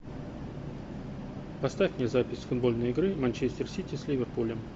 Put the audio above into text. поставь мне запись футбольной игры манчестер сити с ливерпулем